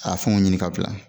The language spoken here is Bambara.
A fɛnw ɲini ka bila